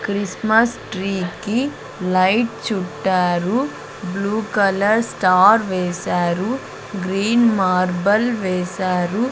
Christmas tree కి light చుట్టారు blue colour star వేశారు గ్రీన్ మార్బుల్ వేశారు.